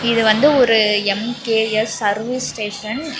இது வந்து ஒரு எம்_கே_எஸ் சர்வீஸ் ஸ்டேஷன் இ --